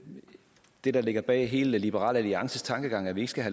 det der ligger bag hele liberal alliances tankegang at vi ikke skal